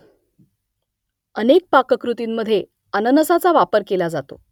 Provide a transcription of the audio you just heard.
अनेक पाककृतींमधे अननसाचा वापर केला जातो